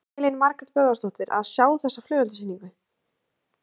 Elín Margrét Böðvarsdóttir: Að sjá þá flugeldasýninguna?